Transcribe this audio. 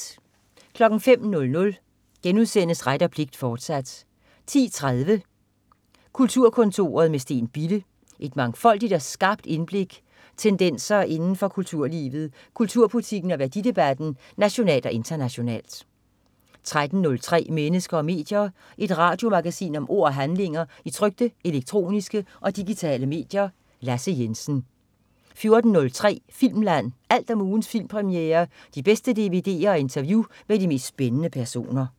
05.00 Ret og pligt, fortsat* 10.03 Kulturkontoret med Steen Bille. Et mangfoldigt og skarpt indblik tendenser inden for kulturlivet, kulturpolitikken og værdidebatten nationalt og internationalt 13.03 Mennesker og medier. Et radiomagasin om ord og handlinger i trykte, elektroniske og digitale medier. Lasse Jensen 14.03 Filmland. Alt om ugens premierefilm, de bedste dvd'er og interview med de mest spændende personer